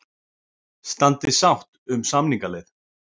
Standi við sátt um samningaleið